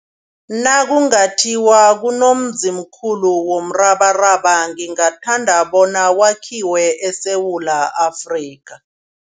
Nakungathiwa kunomzimkhulu womrabaraba ngingathanda bona wakhiwe eSewula Afrika.